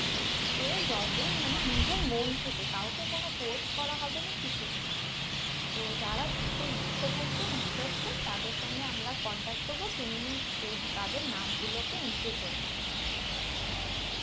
যে কজন নিজের মন থেকে কাউকে কোনো force করা হবে না কিছু না তো যারা দিতে ইচ্ছে থাকবে Interested থাকবে তাদের সঙ্গে আমরা Contact করবো তুমি এই তাদের নাম গুলোকে entry করে নেবে